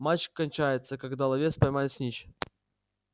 матч кончается когда ловец поймает снитч